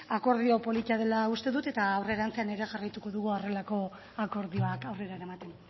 akordio polita dela uste dut eta aurrerantzean ere jarraituko dugu horrelako akordioak aurrera eramaten